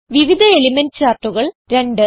വിവിധ എലിമെന്റ് ചാർട്ടുകൾ 2